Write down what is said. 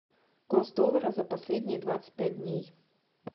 курс доллара за последние двадцать пять дней